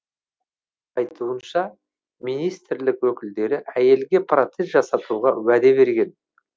айтуынша министрлік өкілдері әйелге протез жасатуға уәде берген